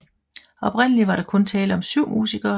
Oprindeligt var der kun tale om 7 musikere